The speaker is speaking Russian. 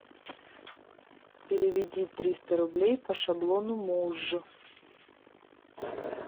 переведи триста рублей по шаблону муж